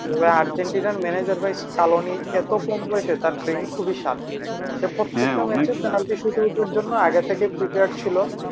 ওই আর্জেন্টিনার manager ভাই স্কালোনি এত কম বয়সের তার brain খুবই sharp সে প্রত্যেকটা match এর penalty এর জন্য আগে থেকে prepare ছিল